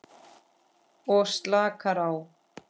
Og slakar á.